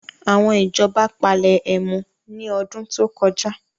Àwọn ìjọba palẹ ẹmu ní ọdún tó kọjá